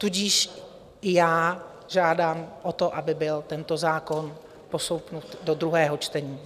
Tudíž i já žádám o to, aby byl tento zákon postoupen do druhého čtení.